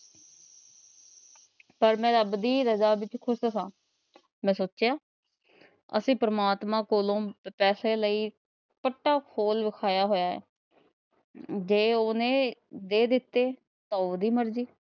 ਪਰ ਮੈ ਰੱਬ ਦੀ ਰਜਾ ਵਿੱਚ ਖ਼ੁਸ਼ ਹਾਂ। ਮੈ ਸੋਚਿਆ ਅਸੀ ਪ੍ਰਮਾਤਮਾ ਕੋਲੋਂ ਪੈਸੇ ਲਈ। ਜੇ ਉਹਨੇ ਦੇ ਦਿੱਤੇ ਤਾ ਉਹਦੀ ਮਰਜ਼ੀ